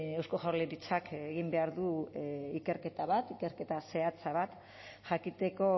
eusko jaurlaritzak egin behar du ikerketa bat ikerketa zehatz bat jakiteko